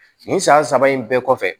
Nin san saba in bɛɛ kɔfɛ